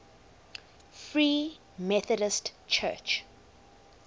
free methodist church